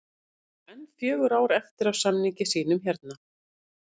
Hann á enn fjögur ár eftir af samningi sínum hérna